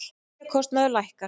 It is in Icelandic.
Lyfjakostnaður lækkar